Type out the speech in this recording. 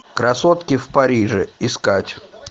красотки в париже искать